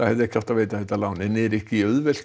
hefði átt að veita lánið en er ekki auðvelt